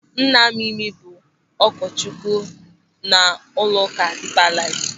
Nna Mimi bụ ụkọchukwu n'ụlọụka Dipa Laif.